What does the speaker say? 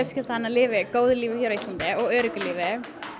hennar lifi góðu lífi hér á Íslandi og öruggu lífi